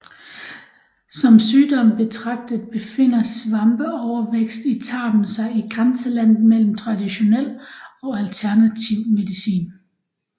Som sygdom betragtet befinder svampeovervækst i tarmen sig i grænselandet mellem traditionel og alternativ medicin